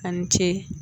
A ni ce